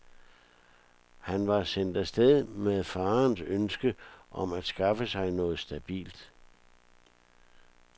Han var sendt af sted med faderens ønske om at skaffe sig noget stabilt.